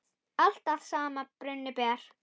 Allt að sama brunni ber.